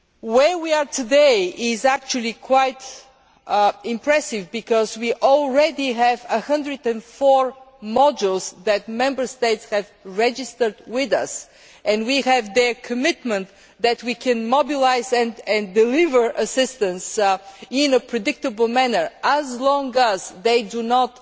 Where we are today is actually quite impressive because we already have 104 modules that Member States have registered with us and we have their commitment that we can mobilise and deliver assistance in a predictable manner, as long as they do not